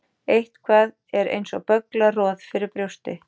Eitthvað er eins og bögglað roð fyrir brjósti